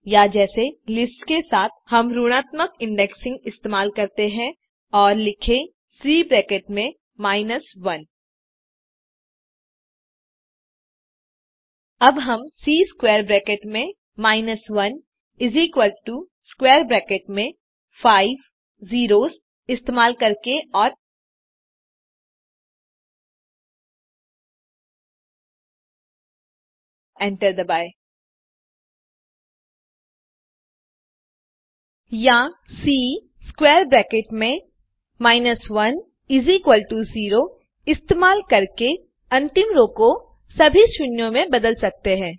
या जैसे लिस्ट्स के साथ हम ऋणात्मक इंडेक्सिंग इस्तेमाल करते हैं और लिखें सी ब्रैकेट में 1 अब हम सी स्क्वैर ब्रैकेट में 1 स्क्वैर ब्रैकेट में फाइव ज़ेरोस इस्तेमाल करके और एंटर दबाकर या सी स्क्वैर ब्रैकेट में 10 इस्तेमाल करके अंतिम रो को सभी शून्यों में बदल सकते हैं